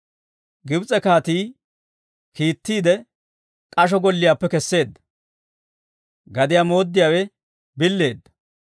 Gibs'e kaatii kiittiide k'asho golliyaappe keseedda, Gadiyaa mooddiyaawe billeedda.